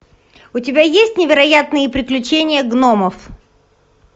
у тебя есть невероятные приключения гномов